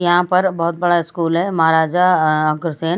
यहां पर बहुत बड़ा स्कूल है महाराजा अ-अग्रसेन--